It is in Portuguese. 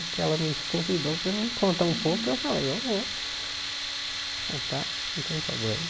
Porque ela me convidou para eu contar um pouco e eu falei, eu vou contar, não tem problema.